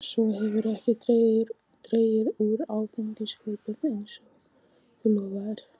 Svo hefurðu ekki dregið úr áfengiskaupunum eins og þú lofaðir.